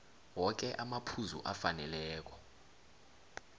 woke amaphuzu afaneleko